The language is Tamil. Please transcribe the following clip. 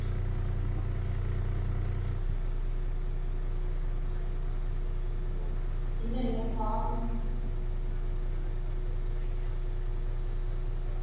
இல்ல இல்ல sorry ma'am